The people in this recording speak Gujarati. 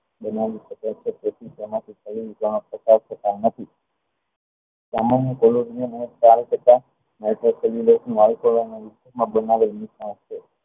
બનાવી શકે છે તેથી તેમાં